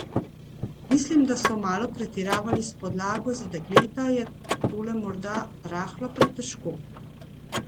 Mislim, da so malo pretiravali s podlago, za dekleta je tole morda rahlo pretežko.